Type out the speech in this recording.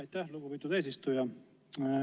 Aitäh, lugupeetud eesistuja!